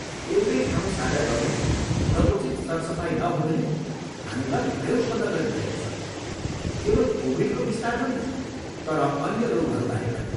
एउटै ठाउँ साझा गर्नु र उचित सरसफाइ नहुनुले हामीमा भय उत्पन्न गरिरहेको छ, केवल कोभिडको विस्तार होइन तर अन्य रोगहरूबारे पनि।